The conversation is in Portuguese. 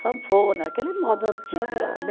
Sanfona, aquele modo antigo lá, né?